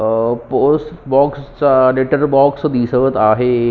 अह post box चा letter box दिसत आहे.